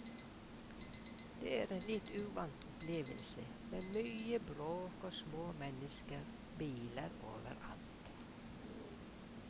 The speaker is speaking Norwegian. Det var en litt uvant opplevelse, med mye bråk og små mennesker og biler overalt.